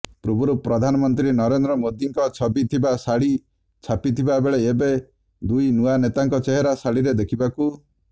ପୂର୍ବରୁ ପ୍ରଧାନମନ୍ତ୍ରୀ ନରେନ୍ଦ୍ର ମୋଦିଙ୍କ ଛବି ଥିବା ଶାଢ଼ି ଛାପିଥିବାବେଳେ ଏବେ ଦୁଇ ନୂଆ ନେତାଙ୍କ ଚେହେରା ଶାଢ଼ିରେ ଦେଖିବାକୁ